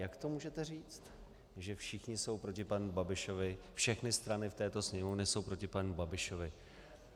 Jak to můžete říct, že všichni jsou proti panu Babišovi, všechny strany v této Sněmovně jsou proti panu Babišovi?